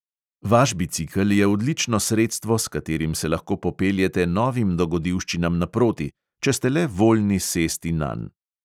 Vaš bicikel je odlično sredstvo, s katerim se lahko popeljete novim dogodivščinam naproti, če ste le voljni sesti nanj.